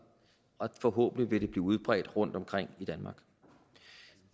og forhåbentlig vil det blive udbredt rundtomkring i danmark